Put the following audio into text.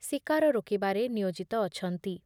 ଶିକାର ରୋକିବାରେ ନିୟୋଜିତ ଅଛନ୍ତି ।